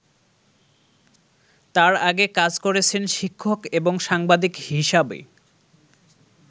তার আগে কাজ করেছেন শিক্ষক এবং সাংবাদিক হিসাবে।